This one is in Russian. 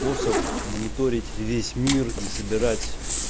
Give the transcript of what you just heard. способ мониторить весь мир и собирать